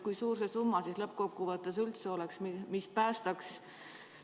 Kui suur see summa lõppkokkuvõttes üldse peaks olema, mis sektori päästaks?